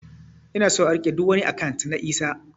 Ina son a rike ɗuk wani akant na Isah